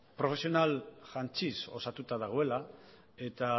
profesional jantziz osatuta dagoela eta